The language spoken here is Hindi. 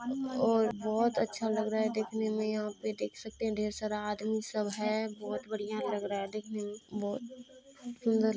और बहुत अच्छा लग रहा हैदेखने मे यहाँ पे देख सकते हैं ढेर सारा आदमी सब है बहुत बड़िया लग रहा है देखने में। बहुत सुन्दर --